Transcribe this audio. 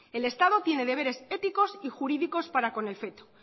el estado tiene deberes éticos y jurídicos para con el feto